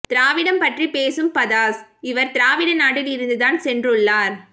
திராவிடம் பற்றி பேசும் பஃதாஸ் இவர் திராவிட நாட்டில் இருந்து தான் சென்று உள்ளார்